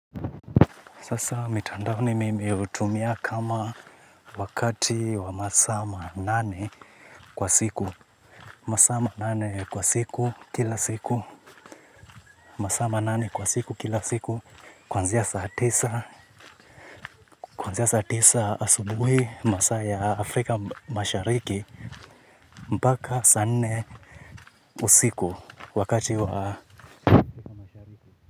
Sasa mitandao mimi hutumia kama wakati wa masaa manane kwa siku. Masama nane kwa siku kila siku. Masaa manane kwa siku kila siku. Kwanzia saa tisa. Kwanzia saa tisa asubuhi masaa ya Afrika mashariki. Mpaka saa nne usiku wakati wa.